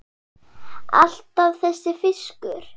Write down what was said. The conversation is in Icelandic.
Alltaf þessi fiskur.